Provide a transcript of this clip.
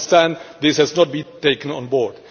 I understand this has not been taken on board.